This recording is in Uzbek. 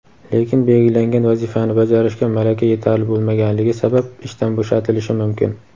lekin belgilangan vazifani bajarishga malaka yetarli bo‘lmaganligi sabab ishdan bo‘shatilishi mumkin.